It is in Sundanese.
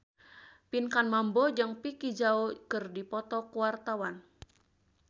Pinkan Mambo jeung Vicki Zao keur dipoto ku wartawan